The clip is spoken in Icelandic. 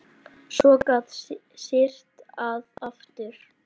Svo gat syrt að aftur.